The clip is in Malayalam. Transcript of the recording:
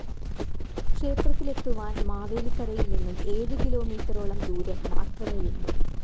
ക്ഷേത്രത്തിൽ എത്തുവാൻ മാവേലിക്കരയിൽ നിന്നും ഏഴുകിലോമീറ്ററോളം ദൂരംമാത്രമേയുള്ളൂ.